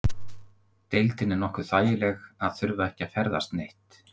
Deildin er nokkuð þægileg að þurfa ekki að ferðast neitt?